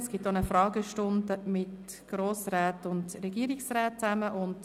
Es wird auch eine Fragestunde mit Grossräten und Regierungsräten stattfinden.